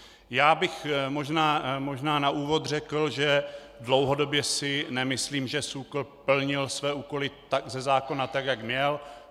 Já bych možná na úvod řekl, že dlouhodobě si nemyslím, že SÚKL plnil své úkoly ze zákona tak, jak měl.